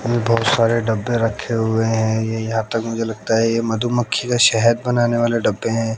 ये बहोत सारे डब्बे रखे हुए हैं ये यहां तक मुझे लगता है ये मधुमक्खी का शहद बनाने वाले डब्बे हैं।